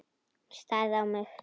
Hún starði á mig.